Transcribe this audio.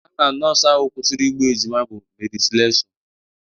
Aha nọọsụ ahụ kwụsịrị igbu ejima bụ Meri Selessọ